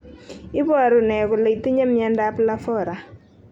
Iporu mr kolr itinyr mionmdap lafora?